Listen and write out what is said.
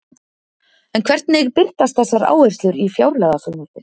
En hvernig birtast þessar áherslur í fjárlagafrumvarpinu?